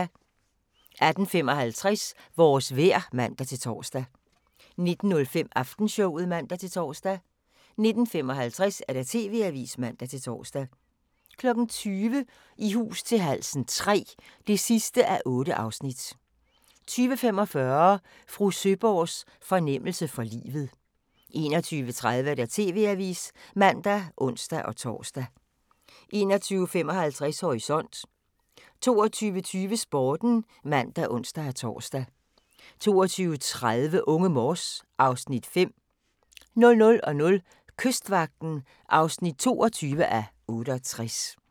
18:55: Vores vejr (man-tor) 19:05: Aftenshowet (man-tor) 19:55: TV-Avisen (man-tor) 20:00: I hus til halsen III (8:8) 20:45: Fru Søeborgs fornemmelse for livet 21:30: TV-Avisen (man og ons-tor) 21:55: Horisont 22:20: Sporten (man og ons-tor) 22:30: Unge Morse (Afs. 5) 00:00: Kystvagten (22:68)